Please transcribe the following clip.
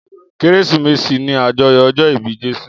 Kérésìmesì ni àjọyọ̀ ọjọ́ ìbí Jésù.